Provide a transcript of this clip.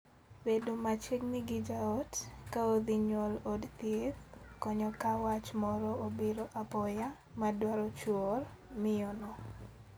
Bedo machiegni gi jaot ka odhi nyuol od thieth konyo ka wach moro obiro apoya (aruya) ma dwaro chuor miyono.